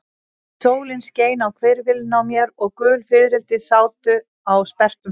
Sólin skein á hvirfilinn á mér og gul fiðrildi sátu á sperrtum stráum.